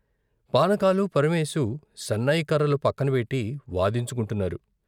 పానకాలు, పరమేకు సన్నాయి కర్రలు పక్కన పెట్టి వాదించుకుంటున్నారు.